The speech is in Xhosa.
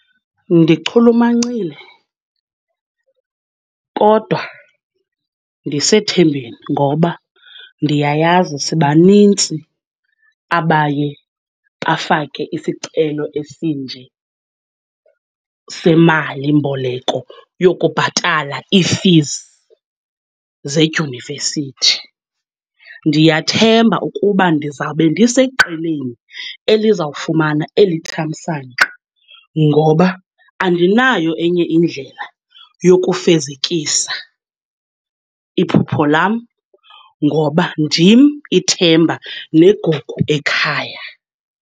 Ndichulumancile kodwa ndisethembeni ngoba ndiyayazi sibanintsi abaye bafake isicelo esinje, semalimboleko yokubhatala iifizi zedyunivesithi. Ndiyathemba ukuba ndizawube ndiseqeleni eliza kufumana eli thamsanqa, ngoba andinayo enye indlela yokufezekisa iphupho lam ngoba ndim ithemba negugu ekhaya.